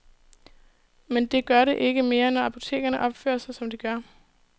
Men det gør det ikke mere, når apotekerne opfører sig, som de gør.